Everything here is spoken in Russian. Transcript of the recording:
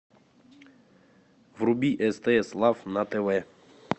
вруби стс лав на тв